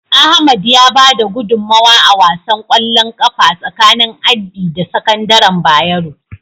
Ahmad ya bada gudunmawa a wasan ƙwallon ƙafa tsakanin Addi da sakandaren Bayero.